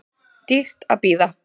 Dýrt að bíða